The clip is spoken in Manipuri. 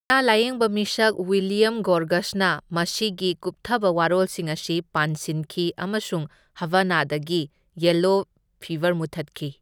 ꯑꯅꯥ ꯂꯥꯢꯌꯦꯡꯕ ꯃꯤꯁꯛ ꯋꯤꯂꯤꯌꯝ ꯒꯣꯔꯒꯁꯅ ꯃꯁꯤꯒꯤ ꯀꯨꯞꯊꯕ ꯋꯥꯔꯣꯜꯁꯤꯡ ꯑꯁꯤ ꯄꯥꯟꯁꯤꯟꯈꯤ ꯑꯃꯁꯨꯡ ꯍꯕꯥꯅꯥꯗꯒꯤ ꯌꯦꯂꯣ ꯐꯤꯕꯔ ꯃꯨꯠꯊꯠꯈꯤ꯫